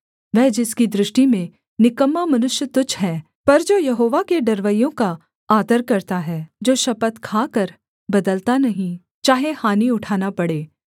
वह जिसकी दृष्टि में निकम्मा मनुष्य तुच्छ है पर जो यहोवा के डरवैयों का आदर करता है जो शपथ खाकर बदलता नहीं चाहे हानि उठाना पड़े